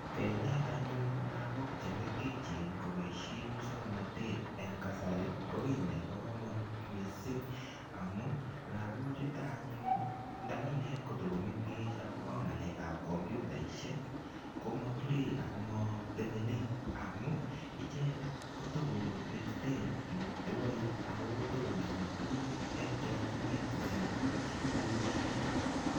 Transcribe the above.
Kenet anyun lagok che mengechen koboisie musoknotet eng kasari, ko kiy nebo kamanut mising, amu lagochuto anyun nda kinet ko ta komengech akobo ngalekab computaisiek, komature ako matemene amun, icheket ko takolititen metowoik ako takoname tuguk eng chokchinet kosir piik che kikoyochekitu.